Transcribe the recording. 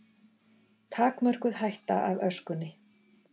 Takmörkuð hætta af öskunni